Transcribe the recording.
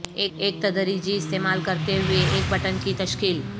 ایک تدریجی استعمال کرتے ہوئے ایک بٹن کی تشکیل